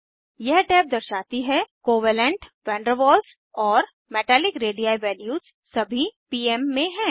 यह टैब दर्शाती है कोवेलेंट वन डेर वाल्स और मेटालिक रेडी वैल्यूज सभी पीम में हैं